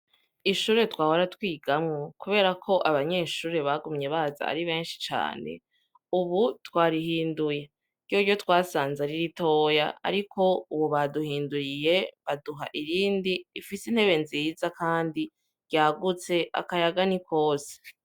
Ishure twahora twigamwo kuberako abanyeshure bagumye baza ari benshi cane ubu twarihinduye, ryoryo twasanze ari ritoya, ariko ubu baduhinduriye baduha irindi rifise intebe nziza kandi ryagutse akayaga ni kose.